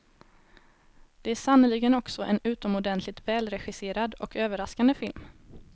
Det är sannerligen också en utomordentligt välregisserad och överraskande film.